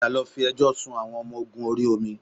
Padà lọ fi ẹjọ́ sun àwọn ọmọ ogun orí omi